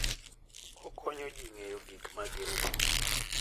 Okonyo ji ng'eyo gik ma gin - go.